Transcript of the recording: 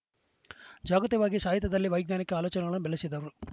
ಜಾಗತಿಯವಾಗಿ ಸಾಹಿತ್ಯದಲ್ಲಿ ವೈಜ್ಞಾನಿಕ ಆಲೋಚನೆಗಳನ್ನು ಬೆಳೆಸಿದರು